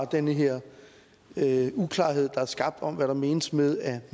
den her uklarhed der er skabt om hvad der menes med at